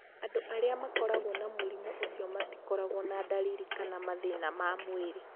Andũ arĩa makoragwo na mũrimũ ũcio matikoragwo na ndariri kana mathĩna ma mwĩrĩ.